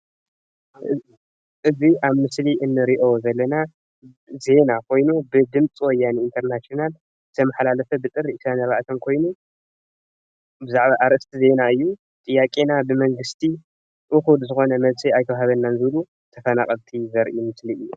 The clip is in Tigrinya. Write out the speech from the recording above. እዚ ኣብ ምስሊ እንረእዮ ዘለና ዜና ኾይኑ ብድምፂ ወያነ ኢንተርናሽናል ዝተመሓላለፈ ብጥሪ 24 ኾይኑ ብዛዕባ ኣርእስቲ ዜና እዩ ጥያቄና ብመንግስቲ እኹል ዝኾነ መለሲ ኣይተዋሃበናን ዝብል እዩ ተፋናቀልቲ ዘርኢ ምስሊ እዩ።